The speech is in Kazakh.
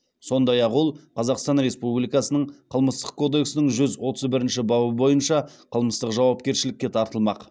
сондай ақ ол қазақстан республикасының қылмыстық кодексінің жүз отыз бірінші бабы бойынша қылмыстық жауапкершілікке тартылмақ